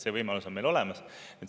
See võimalus on meil olemas.